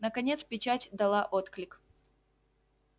наконец печать дала отклик